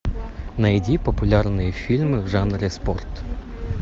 найди популярные фильмы в жанре спорт